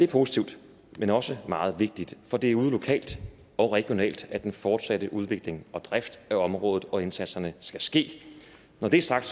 positivt men også meget vigtigt for det er ude lokalt og regionalt at den fortsatte udvikling og drift af området og indsatserne skal ske når det er sagt